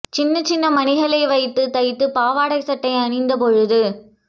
சின்ன சின்ன மணிகளை வைத்து தைத்த பாவாடை சட்டை அணிந்த பொழுது